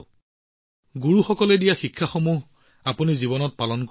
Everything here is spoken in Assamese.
জীৱনত আপুনি গুৰুসকলে দিয়া শিক্ষাবোৰ সঁচাকৈয়ে পালন কৰিছে